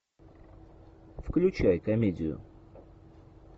включай комедию